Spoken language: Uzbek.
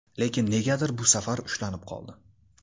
Lekin negadir bu safar ushlanib qoldi.